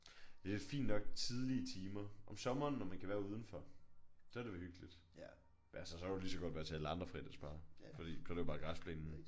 Det er da fint nok tidlige timer. Om sommeren når man kan være udenfor så er det jo hyggeligt. Men altså så kan du lige så godt være til alle andre fredagsbarer fordi så er det jo bare græsplænen